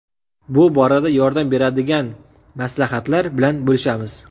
Bu borada yordam beradigan maslahatlar bilan bo‘lishamiz.